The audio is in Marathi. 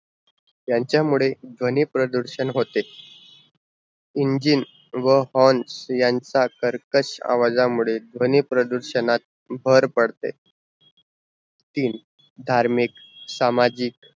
यांचा मुड़े ध्वनी प्रदूषण होते engine व horn यांचा कर्कश आवाजा ध्वनी प्रदूषणात भर पड़त तीन, धार्मिक सामजिक